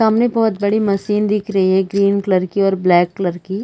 सामने बहोत बड़ी मसीन दिख री है ग्रीन कलर की और ब्लैक कलर की।